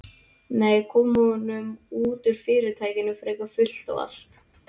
Nei, koma honum út úr Fyrirtækinu fyrir fullt og allt.